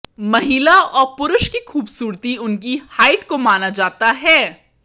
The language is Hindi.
महिला और पुरुष की खूबसूरती उनकी हाइट को माना जाता हैं